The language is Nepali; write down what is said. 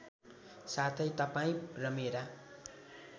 साथै तपाईँ र मेरा